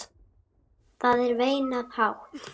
Það er veinað hátt.